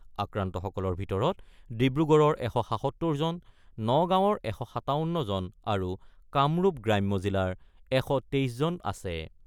আক্ৰান্তসকলৰ ভিতৰত ডিব্ৰুগড়ৰ ১৭৭ জন , নগাঁৱৰ ১৫৭ জন আৰু কামৰূপ গ্ৰাম্য জিলাৰ ১২৩ জন আছে ।